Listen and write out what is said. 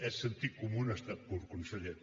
és sentit comú en estat pur conseller